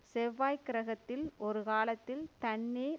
செவ்வாய் கிரகத்தில் ஒருகாலத்தில் தண்ணீர்